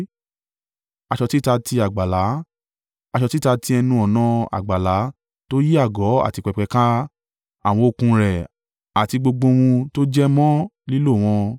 aṣọ títa ti àgbàlá, aṣọ títa ti ẹnu-ọ̀nà àgbàlá tó yí àgọ́ àti pẹpẹ ká, àwọn okùn rẹ̀ àti gbogbo ohun tó jẹ mọ́ lílò wọn.